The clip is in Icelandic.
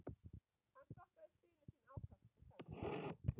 Hann stokkaði spilin sína ákaft en sagði ekki neitt.